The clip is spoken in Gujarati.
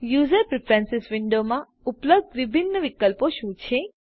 યુઝર પ્રીફ્રેન્સીસ વિન્ડોમાં ઉપલબ્ધ વિભિન્ન વિકલ્પો શું છે